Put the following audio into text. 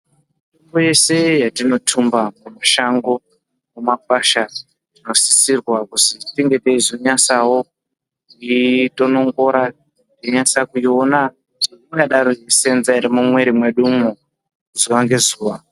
Kwese yetinotumba mushango, mumakwasha tinosisa kunge taizonyasawo kuitonongora tainasa futi kuona kuti inosenza ere mumwiri mwedumwo zuva ngezuva.